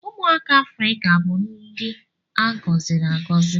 Ụmụaka Afrịka bụ ndị a gọziri agọzi.